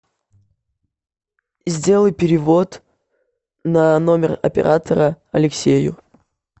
сделай перевод на номер оператора алексею